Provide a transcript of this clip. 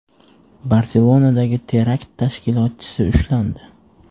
Barselonadagi terakt tashkilotchisi ushlandi.